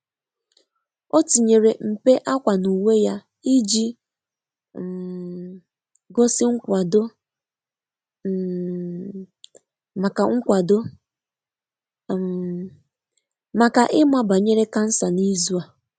O tinyere mpe akwa n'uwe ya, iji um gosi nkwado um maka nkwado um maka ịma banyere cancer n'izu a.